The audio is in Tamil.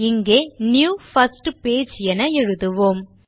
இங்கே நியூ பிர்ஸ்ட் பேஜ் என எழுதுவோம்